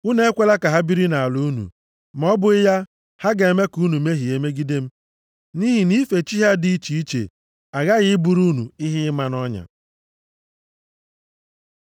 Unu ekwela ka ha biri nʼala unu, ma ọ bụghị ya, ha ga-eme ka unu mehie megide m, nʼihi nʼife chi ha dị iche iche aghaghị ịbụrụ unu ihe ịma nʼọnya.”